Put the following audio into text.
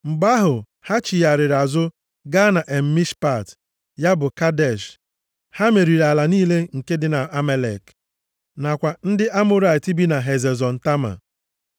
Mgbe ahụ, ha chigharịrị azụ gaa En Mishpat (ya bụ Kadesh). Ha meriri ala niile nke ndị Amalek nakwa ndị Amọrait bi na Hazezọn Tama.